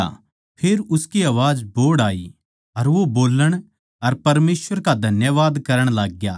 फेर उसकी आवाज बोहड़ आई अर वो बोल्लण अर परमेसवर का धन्यवाद करण लाग्या